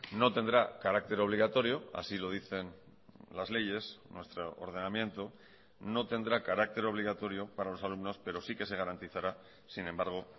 no tendrá carácter obligatorio así lo dicen las leyes nuestro ordenamiento no tendrá carácter obligatorio para los alumnos pero sí que se garantizará sin embargo